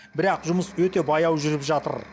бірақ жұмыс өте баяу жүріп жатыр